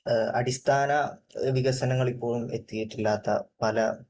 അടിസ്ഥാന വികസനങ്ങൾ ഇപ്പോഴും എത്തിയിട്ടില്ലാത്ത പല